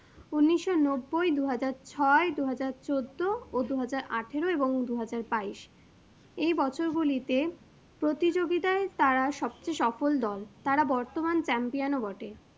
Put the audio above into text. উনিশশো নব্বুই, দু হাজার ছয়, দু হাজার চোদ্দো ও দু হাজার আঠারো এবং দু হাজার বাইশ এই বছরগুলিতে প্রতিযোগিতায় তারা সবচেয়ে সফল দল তারা বর্তমান champion ও বটে।